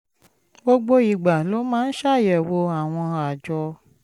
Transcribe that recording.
gbogbo ìgbà ló máa ń ṣàyẹ̀wò àwọn àjọ